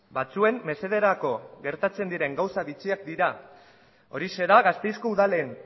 batzuen mesederako gertatzen diren gauza bitxiak dira horixe da gasteizko udalen